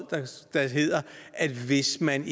der hedder at hvis man